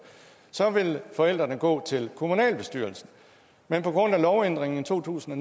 så vil forældrene gå til kommunalbestyrelsen men på grund af lovændringen i to tusind og